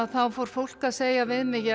fór fólk að segja